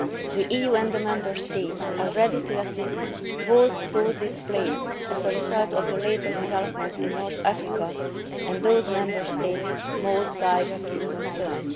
The EU and the Member States are ready to assist both those displaced as a result of the latest developments in North Africa and those Member States most directly concerned.